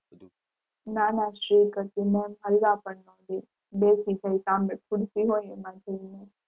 ના ના strict હતી હલવા પણ નો દે.